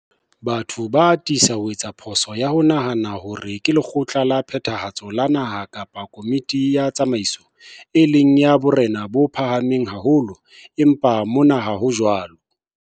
Batho ba atisa ho etsa phoso ya ho nahana hore ke lekgotla la phethahatso la naha kapa komiti ya tsamaiso, e leng ya borena bo phahameng haholo, empa mona ha ho jwalo.